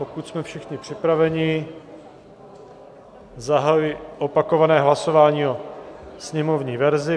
Pokud jsme všichni připraveni, zahajuji opakované hlasování o sněmovní verzi.